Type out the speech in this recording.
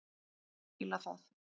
Fíla það.